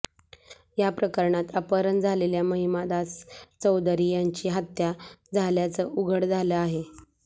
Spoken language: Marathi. या प्रकरणात अपहरण झालेल्य महिमादास चौधरी याची हत्या झाल्याचं उघड झालं आहे